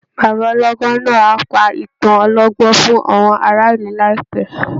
Bàbá ọlọ́gbọ́n náà á pa ìtàn ọlọ́gbọ́n fún àwọn ará ìlù láìpẹ́.